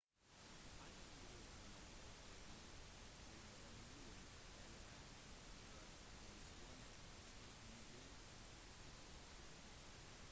hangien bruker man ofte i tilberedningen av en tradisjonell stekmiddag